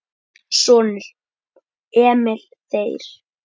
Sonur: Emil Þeyr.